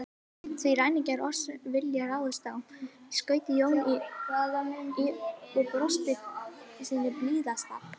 Því ræningjar oss vilja ráðast á, skaut Jón inn í og brosti sínu blíðasta.